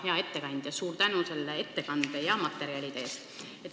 Hea ettekandja, suur tänu ettekande ja materjalide eest!